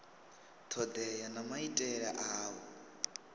thodea na maitele a u